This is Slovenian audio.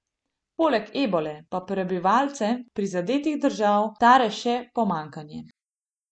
Poleg ebole pa prebivalce prizadetih držav tare še pomanjkanje.